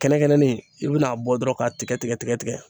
Kɛnɛ kɛnɛni i bin'a bɔ dɔrɔn k'a tigɛ tigɛ tigɛ tigɛ